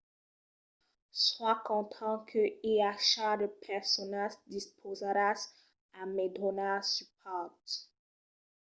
soi content que i aja de personas dispausadas a me donar supòrt